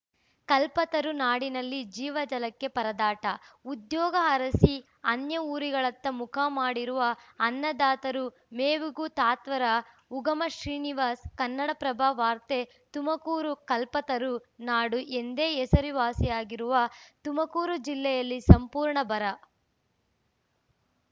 ಕಲ್ಪತರು ನಾಡಿನಲ್ಲಿ ಜೀವಜಲಕ್ಕೆ ಪರದಾಟ ಉದ್ಯೋಗ ಅರಸಿ ಅನ್ಯಊರುಗಳತ್ತ ಮುಖ ಮಾಡಿರುವ ಅನ್ನದಾತರು ಮೇವಿಗೂ ತತ್ವಾರ ಉಗಮ ಶ್ರೀನಿವಾಸ್‌ ಕನ್ನಡಪ್ರಭ ವಾರ್ತೆ ತುಮಕೂರು ಕಲ್ಪತರು ನಾಡು ಎಂದೇ ಹೆಸರುವಾಸಿಯಾಗಿರುವ ತುಮಕೂರು ಜಿಲ್ಲೆಯಲ್ಲಿ ಸಂಪೂರ್ಣ ಬರ